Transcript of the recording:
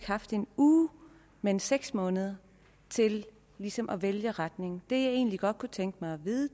haft en uge men seks måneder til ligesom at vælge retningen det jeg egentlig godt kunne tænke mig at vide